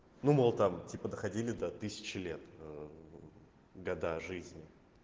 думал там типа доходили до тысячи лет года жизни